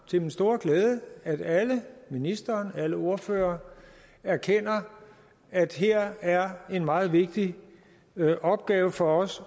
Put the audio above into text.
til min store glæde at alle ministeren og alle ordførerne erkender at her er en meget vigtig opgave for os